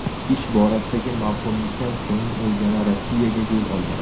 Ish borasidagi mavhumlikdan so‘ng, u yana Rossiyaga yo‘l olgan.